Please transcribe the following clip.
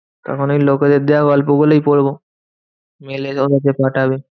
তখন ওই লোকেদের দেওয়া গল্প গুলোই পড়বো। mail এ পাঠাবে।